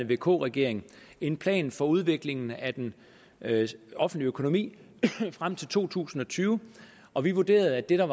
vk regering en plan for udviklingen af den offentlige økonomi frem til to tusind og tyve og vi vurderede at det der